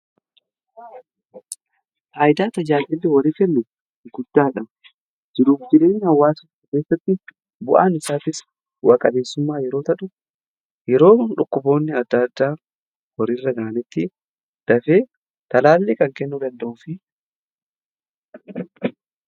Faayidaa tajaajllli horii kennu guddaadha. jiruu fi jireenya hawwaasummaa keessatti bu'aan isaatis bu'a qabeessummaa yeroo ta'u yeroo dhukkuboonni adda addaa horii irra ga'anittis dafee talaallii kan kennu danda'udha.